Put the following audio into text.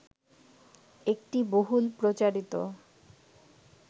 একটি বহুল প্রচারিত